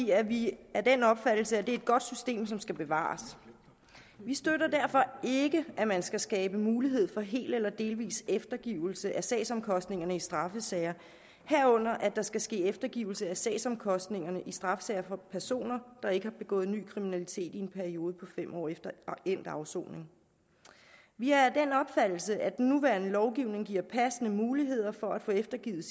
er vi af den opfattelse at det er et godt system som skal bevares vi støtter derfor ikke at man skal skabe mulighed for hel eller delvis eftergivelse af sagsomkostningerne i straffesager herunder at der skal ske eftergivelse af sagsomkostningerne i straffesager for personer der ikke har begået ny kriminalitet i en periode på fem år efter endt afsoning vi er af den opfattelse at den nuværende lovgivning giver passende muligheder for at få eftergivet